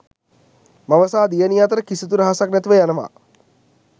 මව සහ දියණිය අතර කිසිදු රහසක් නැතිව යනවා.